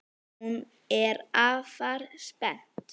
Hún er afar spennt.